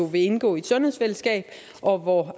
vil indgå i et sundhedsfællesskab og hvor